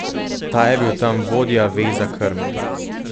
Ta je bil tam vodja veza krme.